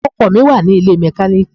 Ọkọ̀ mi wà nílé mẹkáníìkì.